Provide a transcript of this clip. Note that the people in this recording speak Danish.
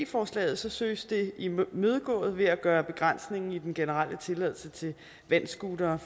forslaget søges det imødegået ved at gøre begrænsningen i den generelle tilladelse til vandscootere